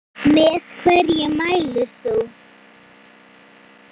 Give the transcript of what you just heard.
Með hverju mælir þú?